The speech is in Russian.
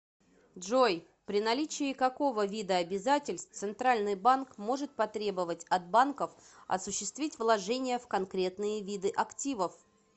джой при наличии какого вида обязательств центральный банк может потребовать от банков осуществить вложения в конкретные виды активов